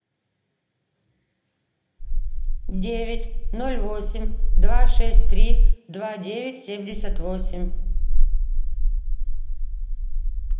девять ноль восемь два шесть три два девять семьдесят восемь